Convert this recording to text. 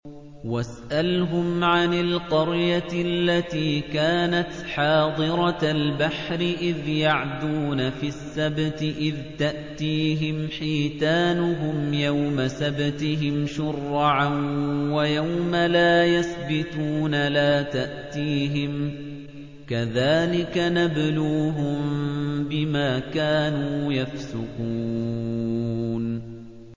وَاسْأَلْهُمْ عَنِ الْقَرْيَةِ الَّتِي كَانَتْ حَاضِرَةَ الْبَحْرِ إِذْ يَعْدُونَ فِي السَّبْتِ إِذْ تَأْتِيهِمْ حِيتَانُهُمْ يَوْمَ سَبْتِهِمْ شُرَّعًا وَيَوْمَ لَا يَسْبِتُونَ ۙ لَا تَأْتِيهِمْ ۚ كَذَٰلِكَ نَبْلُوهُم بِمَا كَانُوا يَفْسُقُونَ